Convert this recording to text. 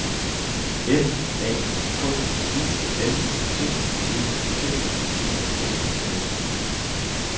F A K U L T E T E T S